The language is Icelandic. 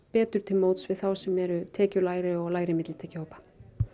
betur til móts við þá sem eru tekjulægri og lægri millitekjuhópa